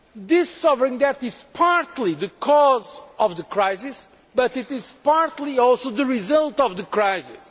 This sovereign debt is partly the cause of the crisis, but it is partly also the result of the crisis.